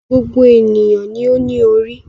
Gbogbo ènìyàn ni ó ní orí.